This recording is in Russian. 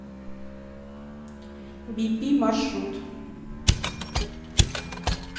бипи маршрут